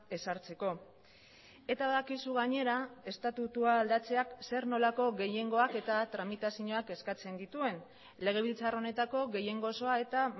ezartzeko eta badakizu gainera estatutua aldatzeak zer nolako gehiengoak eta tramitazioak eskatzen dituen legebiltzar honetako gehiengo osoa eta